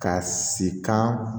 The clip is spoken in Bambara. Ka si kan